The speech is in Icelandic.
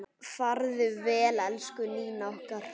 Farðu vel, elsku Nína okkar.